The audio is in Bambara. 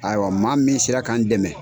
Ayiwa maa min sera ka n dɛmɛ.